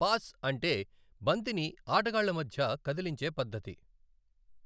Pass అంటే బంతిని ఆటగాళ్ల మధ్య కదిలించే పద్ధతి.